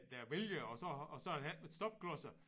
Der vælger og så og så har der ikke været stopklodser